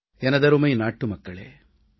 எனதருமை நாட்டுமக்களே வணக்கம்